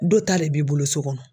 Dɔ ta le b'i bolo so kɔnɔ.